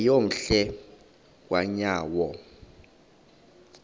yeyom hle kanyawo